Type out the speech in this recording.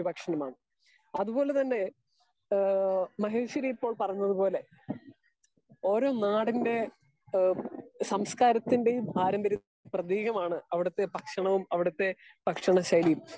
Speaker 2 ഒരു ഭക്ഷണം ആണ്. അത് കൊണ്ട് തന്നെ മഹേഷ്വരി ഇപ്പോൾ പറഞ്ഞത് പോലെ ഒരൊ നാടിന്റെ സാംസ്‌കാരിതിന്റെയും പാർമ്പര്യത്തിന്റെയും പ്രേതീകമാണ് അവിടുത്തെ ഭക്ഷണവും അവിടെത്തെ ഭക്ഷണ ശൈലിയും